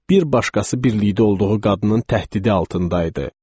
Bir başqası birlikdə olduğu qadının təhdidi altında idi.